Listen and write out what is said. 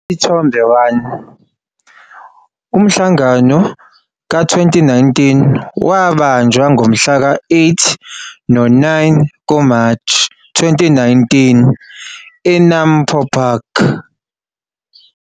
Isithombe 1- Umhlangano ka-2019 wabanjwa ngomhla ka-8 no-9 kuMashi 2019 e-NAMPO Park.